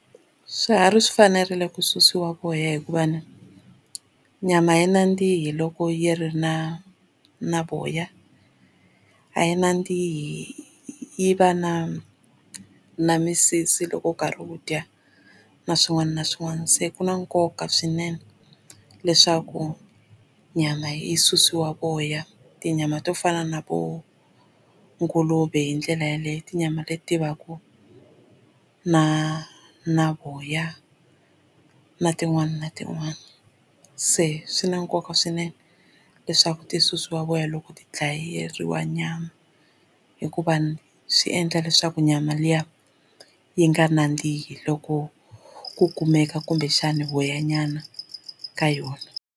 Swiharhi swi fanerile ku susiwa voya hikuva ni nyama ya nandzihi loko yi ri na na voya a yi nandzihi yi va na na misisi loko u karhi wu dya na swin'wana na swin'wana se ku na nkoka swinene leswaku nyama yi susiwa voya tinyama to fana na vo nguluve hi ndlela yeleyo tinyama leti ti vaka na na voya na tin'wani na tin'wani se swi na nkoka swinene leswaku ti susiwa voya loko ti dlayeriwa nyama hikuva swi endla leswaku nyama liya yi nga nandzihi loko ku kumeka kumbexana voyanyana ka yona.